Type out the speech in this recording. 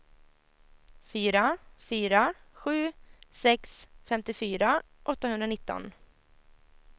fyra fyra sju sex femtiofyra åttahundranitton